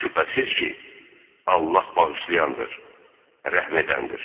Şübhəsiz ki, Allah bağışlayandır, rəhm edəndir.